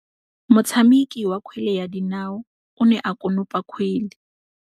Motshameki wa kgwele ya dinaô o ne a konopa kgwele.